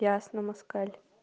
ясно москаль